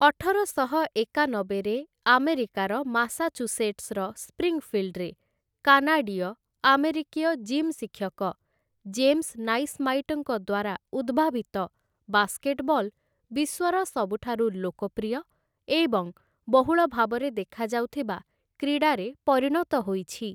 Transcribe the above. ଅଠରଶହ ଏକାନବେରେ ଆମେରିକାର ମାସାଚୁସେଟ୍ସର ସ୍ପ୍ରିଙ୍ଗଫିଲ୍ଡରେ କାନାଡିୟ ଆମେରିକୀୟ ଜିମ୍ ଶିକ୍ଷକ ଜେମ୍ସ ନାଇସ୍ମାଇଟ୍ ଙ୍କ ଦ୍ୱାରା ଉଦ୍ଭାବିତ, ବାସ୍କେଟବଲ୍ ବିଶ୍ୱର ସବୁଠାରୁ ଲୋକପ୍ରିୟ ଏବଂ ବହୁଳ ଭାବରେ ଦେଖାଯାଉଥିବା କ୍ରୀଡ଼ାରେ ପରିଣତ ହୋଇଛି ।